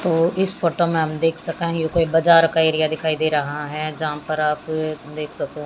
तो इस फोटो में हम देख सके हैं ये कोई बाजार का एरिया दिखाई दे रहा है जहां पर आप देख सकूं--